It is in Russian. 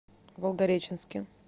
волгореченске